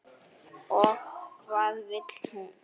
Og hvað vill hún?